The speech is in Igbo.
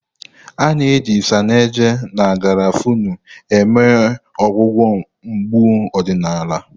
A na-eji Isanaje na garafuni eme ọgwụgwọ mgbu ọdịnala.